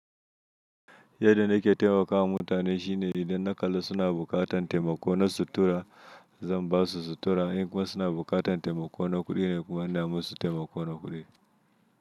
Yadda na taimakawa mutane shine idan na kalla suna buƙatar taimako na sutura, zan basu sutura. In kuma suna buƙatar taimako na kuɗi ne kuma na musu taimako na kuɗi.